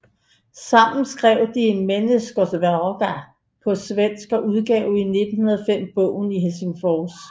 Sammen skrev de Människornas vägar på svensk og udgav i 1905 bogen i Helsingfors